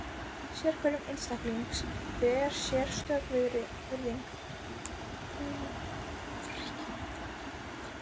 Sérhverjum einstaklingi ber sérstök virðing, sjálfræði og sjálfsvirðing.